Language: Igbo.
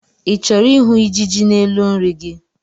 I chọrọ ịhụ ijiji n'elu nri gị?